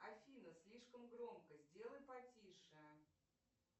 афина слишком громко сделай потише